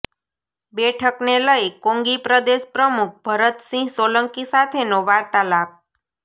બેઠકને લઈ કોંગી પ્રદેશ પ્રમુખ ભરતસિંહ સોલંકી સાથેનો વાર્તાલાપ